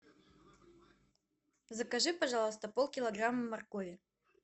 закажи пожалуйста полкилограмма моркови